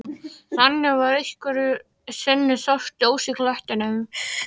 Þannig var að einhverju sinni sást ljós í klettinum.